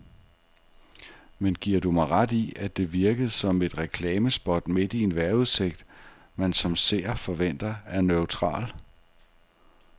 Men giver du mig ret i, at det virkede som et reklamespot midt i en vejrudsigt, man som seer forventer er neutral.